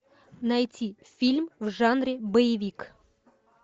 найти фильм в жанре боевик